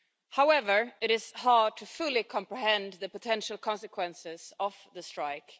However, it is hard to fully comprehend the potential consequences of the strike.